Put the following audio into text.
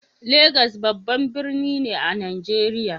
Lagos babban birni ne a Najeriya.